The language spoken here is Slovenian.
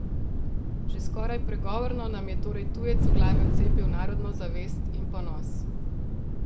Že skoraj pregovorno nam je torej tujec v glave vcepil narodno zavest in ponos.